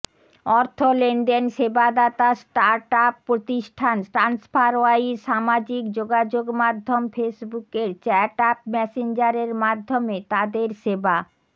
অর্থ লেনদেন সেবাদাতা স্টার্টআপ প্রতিষ্ঠান ট্রান্সফারওয়াইজ সামাজিক যোগাযোগমাধ্যম ফেসবুকের চ্যাট অ্যাপ মেসেঞ্জারের মাধ্যমে তাদের সেবা